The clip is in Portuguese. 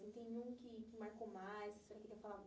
E tem um que que marcou mais você não quer falar